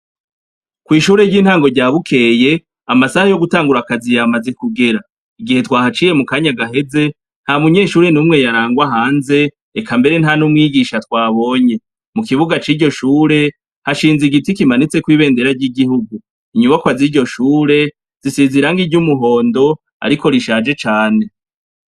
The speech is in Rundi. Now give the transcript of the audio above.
Kwishure ryintango rya Bukeye amasaha yo gutangura akazi yamaze kugera igihe twahaciye mukanya gaheze ntamunyeshure numwe yarangwa hanze eka mbere nta n'umwigisha twabonye, mukibuga ciryo shure hashinze igiti kimanitseko ibendera ryigihugu inyubakwa ziryo shuri zisize irangi ryumuhondo ariko rishaje cane.